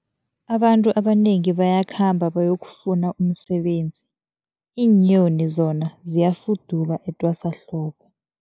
Abantu abanengi bayakhamba bayokufuna umsebenzi, iinyoni zona ziyafuduka etwasahlobo.